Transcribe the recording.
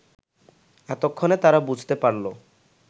এতক্ষণে তারা বুঝতে পারল